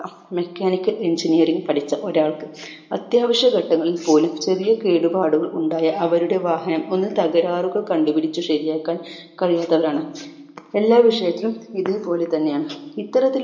mechanical engineering പഠിച്ച ഒരാൾക്ക് അത്യാവശ്യ ഘട്ടങ്ങവശങ്ങളിൽ പോലും ചെറിയ കേടുപാടുകൾ ഉണ്ടായാൽ അവരുടെ വാഹനം ഒന്നു തകരാറുകൾ കണ്ടുപിടിച്ച് ശരിയാക്കാൻ കഴിയാത്തവരാണ് എല്ലാ വിഷയത്തിലും ഇതുപോലെ തന്നെയാണ് ഇത്തരത്തിൽ